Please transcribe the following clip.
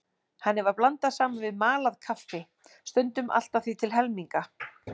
Henni var blandað saman við malað kaffi, stundum allt að því til helminga.